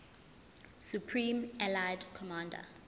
supreme allied commander